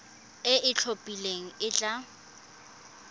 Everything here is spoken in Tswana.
e e itlhophileng e tla